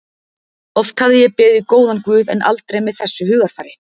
Oft hafði ég beðið góðan guð en aldrei með þessu hugarfari.